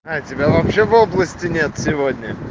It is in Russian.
а тебя вообще в области нет сегодня